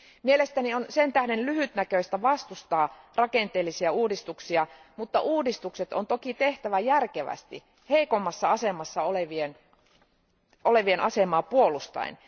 Mielestäni on sen tähden lyhytnäköistä vastustaa rakenteellisia uudistuksia, mutta uudistukset on toki tehtävä järkevästi heikommassa asemassa olevien asemaa puolustaen.